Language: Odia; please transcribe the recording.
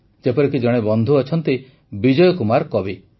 ଯେପରିକି ଜଣେ ବନ୍ଧୁ ଅଛନ୍ତି ବିଜୟ କୁମାର କବି